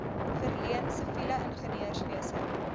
verleen siviele ingenieurswese